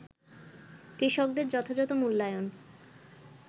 কৃষকদের যথাযথ মূল্যায়ন